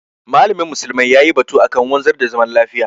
malamin musulmai yayi batu akan wanzar da zaman lafiya.